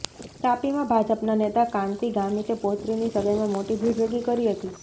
તાપીમાં ભાજપના નેતા કાંતિ ગામિતે પૌત્રીની સગાઇમાં મોટી ભીડ ભેગી કરી હતી